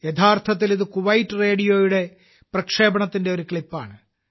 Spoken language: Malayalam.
യഥാർത്ഥത്തിൽ ഇത് കുവൈറ്റ് റേഡിയോയുടെ പ്രക്ഷേപണത്തിന്റെ ഒരു ക്ലിപ്പാണ്